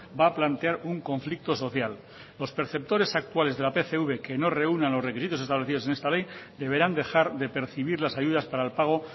va a plantear un conflicto social los perceptores actuales de la pcv que no reúnan los requisitos establecidos en esta ley deberán dejar de percibir las ayudas para el pago